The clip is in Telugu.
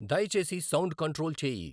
దయచేసి సౌండు కంట్రోల్ చేయి